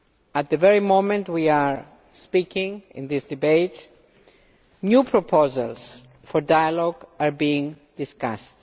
At the very moment that we are speaking in this debate new proposals for dialogue are being discussed.